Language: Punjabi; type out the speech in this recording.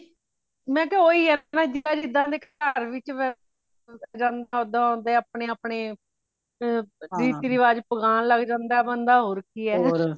ਮੈਂ ਕਯਾ ਉਹੀ ਹੈ ਨਾ ਜਿੰਦਾ ਜਿੰਦਾ ਦੇ ਘਾਰ ਵਿੱਚ ਵਸ਼ ਜਾਂਦੇ ਓਹਦਾ ਓਹਦਾ ਆਪਣੇ ਆਪਣੇ ਏ ਰੀਤੀ ਰਿਵਾਜ਼ ਬਨਾਣ ਲਾਗਜਾਂਦਾ ਹੋਰ ਕਿ ਹੈ